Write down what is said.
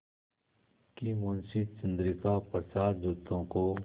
कि मुंशी चंद्रिका प्रसाद जूतों को